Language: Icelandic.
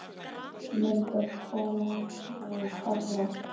Mynd af hvalháfi og kafara.